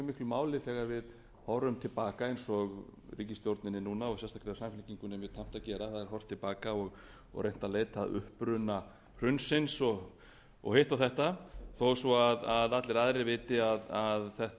máli þegar við horfum til baka eins og ríkisstjórninni núna og sérstaklega samfylkingunni er tamt að gera það er horft til baka og reynt að leita uppruna hrunsins og hitt og þetta þó svo allir aðrir viti að þetta